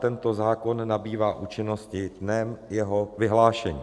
Tento zákon nabývá účinnosti dnem jeho vyhlášení.